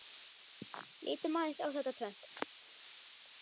Lítum aðeins á þetta tvennt.